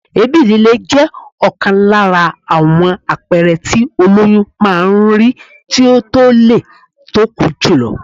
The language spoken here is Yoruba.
Èébì lílé jẹ́ ọ̀kan lára àwọn àpẹẹrẹ tí ólóyún máa ń rí tí ó tólé tóko jùlọ.